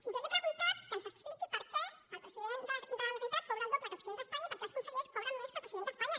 jo li he preguntat que ens expliqui per què el president de la generalitat cobra el doble que el president d’espanya i per què els consellers cobren més que el president d’espanya